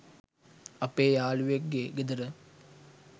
අපේ යාලුවෙක් ගේ ගෙදර.